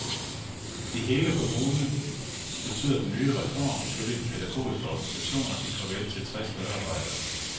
I hele kommunen betyder den nye reform ifølge de pædagogiske organisationer et farvel til tres medarbejdere.